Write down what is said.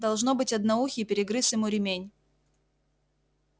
должно быть одноухий перегрыз ему ремень